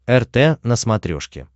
рт на смотрешке